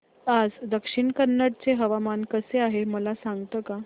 आज दक्षिण कन्नड चे हवामान कसे आहे मला सांगता का